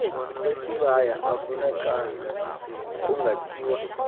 wesibaya avvunacala kungathiwa